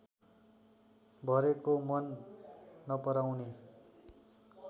भरेको मन नपराउने